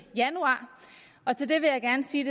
januar og til det vil jeg gerne sige